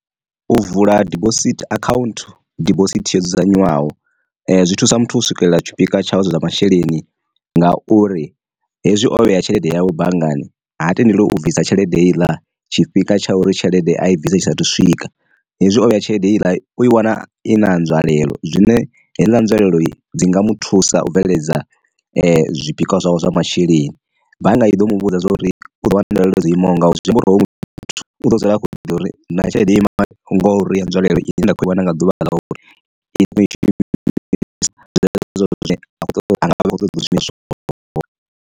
U vula dibosithi account dibosithi yo dzudzanywaho zwi thusa muthu u swikelela tshifhinga tshawe zwa masheleni nga uri, hezwi o vhea tshelede yawe banngani ha tendeliwi u bvisa tshelede heiḽa tshifhinga tsha uri tshelede a i bvisa tshisa thu swika. Hezwi o vheya tshelede heiḽa u i wana i na ha nzwalelo zwine heiḽa nzwalelo dzi nga mu thusa u bveledza zwipikwa zwavho zwa masheleni, bannga i ḓo mu vhudza zwa uri u ḓo wana nzwalelo dzo imaho ngao zwiamba uri hoyu muthu muthu u ḓo dzula akho ḓivha uri na tshelede ima ngori ya nzwalelo i ne nda khou iwana nga ḓuvha ḽauri anga vha vha khou ṱoḓa zwishumiswa zwo.